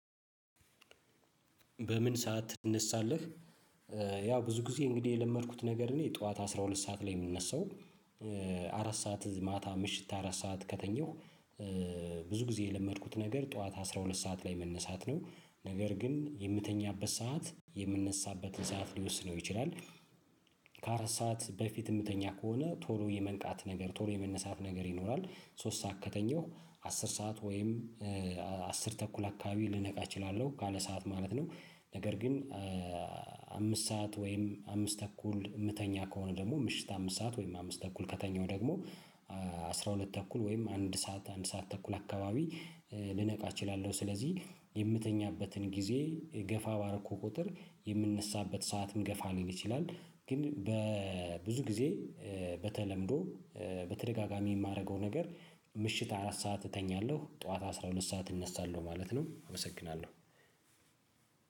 በምን ሰዓት ትነሳለህ? ያው ብዙ ጊዜ እንግዲህ የለመድኩት ነገር እኔ ጠዋት አስራ ሁለት ሰዓት ላይ የምነሳው። አራት ሰዓት ማታ ምሽት አራት ሰዓት ከተኘሁ። ብዙ ጊዜ የለመድኩት ነገር ጠዋት አስራ ሁለት ሰዓት ላይ መነሳት ነው ነገር ግን የምተኛበት ሰዓት የምነሳበትን ሰዓት ሊወስነው ይችላል። ከአራት ሰዓት በፊት የምተኛ ከሆነ ቶሎ የመንቃት ነገር ቶሎ የመነሳት ነገር ይኖራል። ሶስት ሰዓት ከተኘሁ አስር ሰዓት ወይም አስር ተኩል አካባቢ ልነቃ እችላለሁ ካለ ሰዓት ማለት ነው። ነገር ግን። አምስት ሰዓት ወይም አምስት ተኩል የምተኛ ከሆነ ደግሞ ምሽት አምስት ሰዓት ወይም አምስት ተኩል ከተኛሁ ደግሞ አስራ ሁለት ተኩል ወይም አንድ ሰዓት አንድ ሰዓት ተኩል አካባቢ። ልነቃ እችላለሁ ስለዚህ የምተኛበትን ጊዜ ገፋ ባረኩ ቁጥር የምንሳበት ሰዓት ምገፋ ሊል ይችላል። ግን በብዙ ጊዜ በተለምዶ በተደጋጋሚ የማደርገው ነገር። ምሽት አራት ሰዓት እተኛለሁ ጠዋት አስራ ሁለት ሰዓት እነሳለሁ ማለት ነው እመሰግናለሁ።